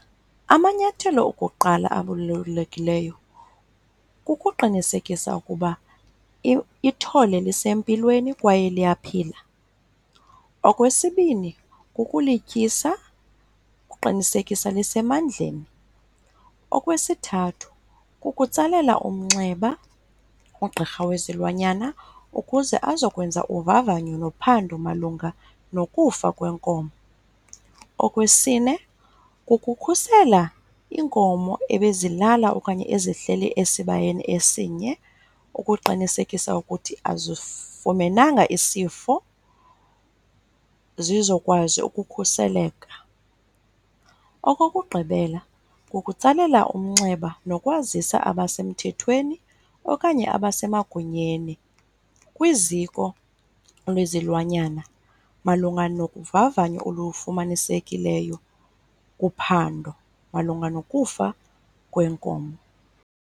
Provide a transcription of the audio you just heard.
Amanyathelo okuqala abalulekileyo kukuqinisekisa ukuba ithole lisempilweni kwaye liyaphila. Okwesibini, kukulityisa ukuqinisekisa lisemandleni. Okwesithathu, kukutsalela umnxeba ugqirha wezilwanyana ukuze azokwenza uvavanyo nophando malunga nokufa kwenkomo. Okwesine, kukukhusela iinkomo ebezilala okanye ezihleli esibayeni esinye ukuqinisekisa ukuthi azifumenanga isifo, zizokwazi ukukhuseleka. Okokugqibela, kukutsalela umnxeba nokwazisa abasemthethweni okanye abasemagunyeni kwiziko lwezilwanyana malunga nokuvavanyo olufumanisekileyo kuphando malunga nokufa kwenkomo.